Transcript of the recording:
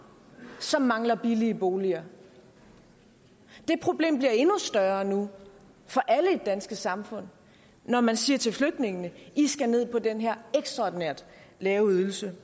som mangler billige boliger det problem bliver endnu større nu for alle i det danske samfund når man siger til flygtningene i skal ned på den her ekstraordinært lave ydelse